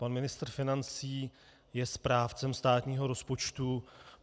Pan ministr financí je správcem státního rozpočtu.